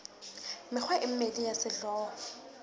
mekgwa e mmedi ya sehlooho